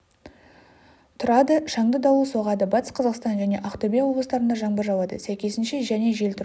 түұрады шаңды дауыл соғады батыс қазақстан және ақтөбе облыстарында жаңбыр жауады сәйкесінше және жел тұрады